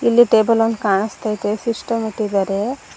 ಇಲ್ಲಿ ಟೇಬಲ್ ಒಂದ ಕಾಣಸ್ತತೈತೆ ಸಿಸ್ಟಮ್ ಇಟ್ಟಿದಾರೆ.